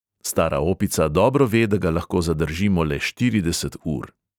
Stara opica dobro ve, da ga lahko zadržimo le štirideset ur.